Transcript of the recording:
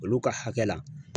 Olu ka hakɛ la